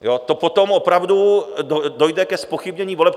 To potom opravdu dojde ke zpochybnění voleb.